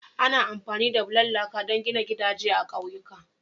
Ana amfani da bulan laka don gina gidajen gida a ƙauyuka.